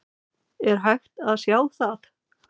Er hægt að sjá það?